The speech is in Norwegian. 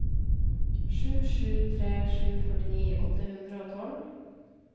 sju sju tre sju førtini åtte hundre og tolv